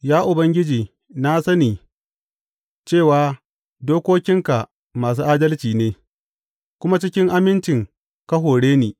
Ya Ubangiji na sani, cewa dokokinka masu adalci ne, kuma cikin aminci ka hore ni.